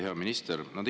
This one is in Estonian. Hea minister!